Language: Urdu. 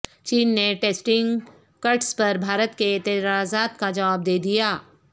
چین نے ٹیسٹنگ کٹس پر بھارت کے اعتراضات کا جواب دے دیا